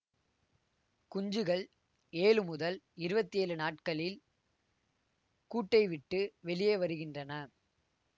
குஞ்சுகள் ஏழு முதல் இருவத்தி ஏழு நாட்களில் கூட்டை விட்டு வெளியே வருகின்றன